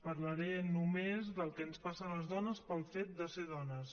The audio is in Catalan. parlaré només del que ens passa a les dones pel fet de ser dones